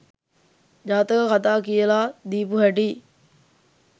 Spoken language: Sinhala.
ජාතක කතා කියලා දීපු හැටියි.